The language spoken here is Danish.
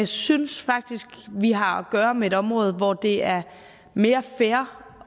synes faktisk vi har at gøre med et område hvor det er mere fair